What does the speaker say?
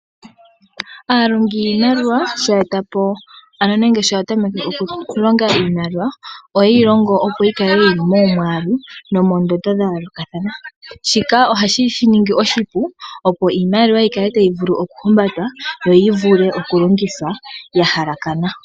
Aalongi yiimaliwa shaa ya e ta po nenge shampa ya tameke okulonga iimaliwa ohaye yi longo opo yi kale yili momwaalu nomondondo dha yoolokathana, shika ohashi shi ningi oshipu opo iimaliwa yi kale tayi vulu oku himbatwa, yo yi vule oku longithwa ya halakana.